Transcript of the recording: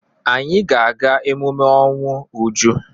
Anyị ga-aga emume ọnwụ Uju.